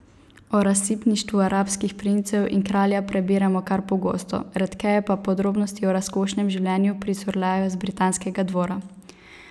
O razsipništvu arabskih princev in kralja prebiramo kar pogosto, redkeje pa podrobnosti o razkošnem življenju pricurljajo z britanskega dvora.